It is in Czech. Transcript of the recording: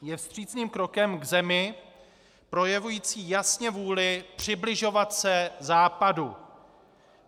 Je vstřícným krokem k zemi projevující jasně vůli přibližovat se Západu.